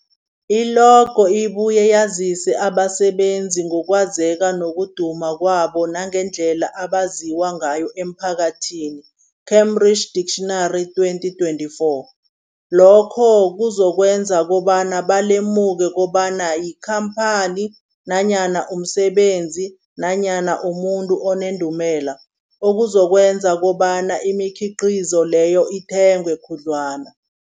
I-logo ibuye yazise abasebenzisi ngokwazeka nokuduma kwabo nangendlela abaziwa ngayo emphakathini, Cambridge Dictionary 2024. Lokho kuzokwenza kobana balemuke kobana yikhamphani nanyana umsebenzi nanyana umuntu onendumela, okuzokwenza kobana imikhiqhizo leyo ithengwe khudlwana.